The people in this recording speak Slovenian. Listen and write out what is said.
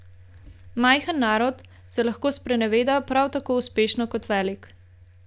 Majhen narod se lahko spreneveda prav tako uspešno kot velik.